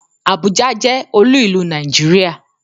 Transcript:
Àbújá jẹ́ olú ìlú Nàìjíríà.